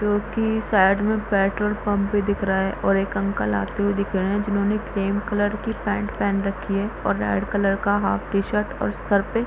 क्यूंकि साइड में petrol pump भी दिख रहा है और एक अंकल आते हुए दिख रहे हैं जिन्होंने क्रीम कलर की पेंट पहन रखी है और रेड कलर का हाफ टी-शर्ट और सर पे --